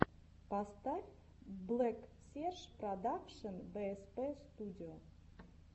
поставь блэксерж продакшен бээспэ студио